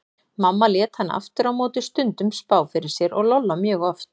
Mamma lét hana aftur á móti stundum spá fyrir sér og Lolla mjög oft.